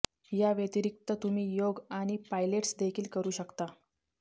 याव्यतिरिक्त तुम्ही योग आणि पायलेट्स देखील करू शकता